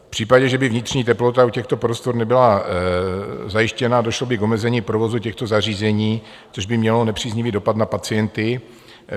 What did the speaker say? V případě, že by vnitřní teplota u těchto prostor nebyla zajištěna, došlo by k omezení provozu těchto zařízení, což by mělo nepříznivý dopad na pacienty.